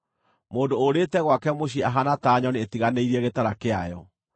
Mũndũ ũũrĩte gwake mũciĩ ahaana ta nyoni ĩtiganĩirie gĩtara kĩayo.